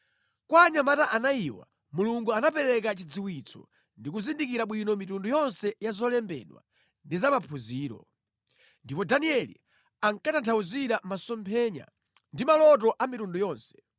Kwa anyamata anayiwa Mulungu anapereka chidziwitso ndi kuzindikira bwino mitundu yonse ya zolembedwa ndi za maphunziro. Ndipo Danieli ankatanthauzira masomphenya ndi maloto a mitundu yonse.